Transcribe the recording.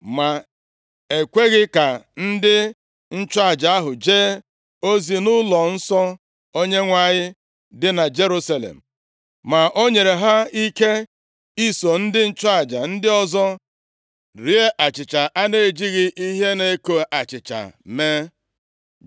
Ma e kweghị ka ndị nchụaja ahụ jee ozi nʼụlọnsọ Onyenwe anyị dị na Jerusalem, ma o nyere ha ike iso ndị nchụaja ndị ọzọ rie achịcha a na-ejighị ihe na-eko achịcha mee.